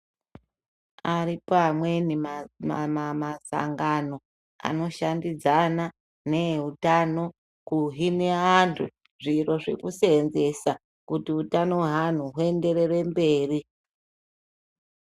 Aripo amweni masangano anoshandidzana neeutano kuhine anhu zviro zvekuseenzesa kuti utano hwe anhu huenderere mberi.